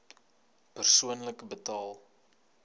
persoonlik betaal